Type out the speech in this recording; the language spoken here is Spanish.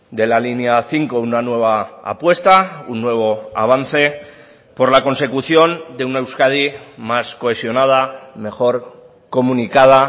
de la línea cinco una nueva apuesta un nuevo avance por la consecución de una euskadi más cohesionada mejor comunicada